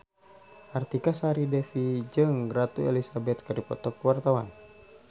Artika Sari Devi jeung Ratu Elizabeth keur dipoto ku wartawan